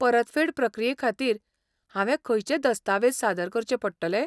परतफेड प्रक्रिये खातीर, हांवें खंयचे दस्तावेज सादर करचे पडटले?